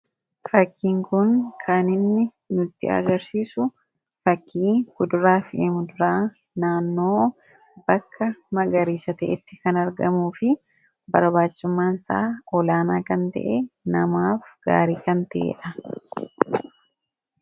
Fakkiin kun kan inni nutti agarsiisu fakkii kuduraa fi muduraa naannoo bakka magariisa ta'etti kan argamuu fi barbaachisummaan isaa olaanaa kan ta'e, namaaf gaarii kan ta'ee dha.